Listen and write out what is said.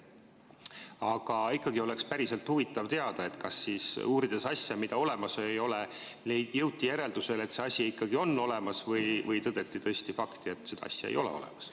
Aga ikkagi oleks päriselt huvitav teada, kas siis uurides asja, mida olemas ei ole, jõuti järeldusele, et see asi ikkagi on olemas, või tõdeti tõesti fakti, et seda asja ei ole olemas.